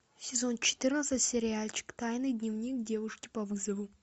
сезон четырнадцать сериальчик тайный дневник девушки по вызову